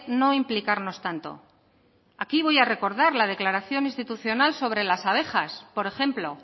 no implicarnos tanto aquí voy a recordar la declaración institucional sobre las abejas por ejemplo